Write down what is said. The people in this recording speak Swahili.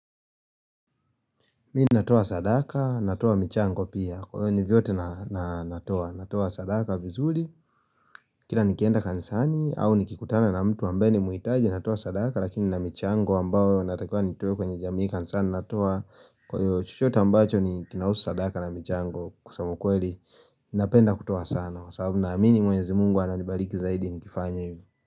Mii natoa sadaka, natoa michango pia. Kwa hivyo ni vyote na natoa. Natoa sadaka vizuri. Kila nikienda kanisani au nikikutana na mtu ambaye ni muhitaji natoa sadaka lakini nina michango ambayo natakiwa nitoe kwenye jamii kanisani natoa. Kwa hivyo chochote ambacho ni kinahusu sadaka na michango kusema ukweli. Napenda kutoa sana. Kwa sababu naamini mwenyezi mungu ananibariki zaidi nikifanya hivyo.